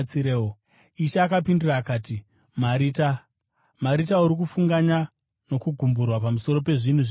Ishe akapindura akati, “Marita, Marita, uri kufunganya nokugumburwa pamusoro pezvinhu zvizhinji,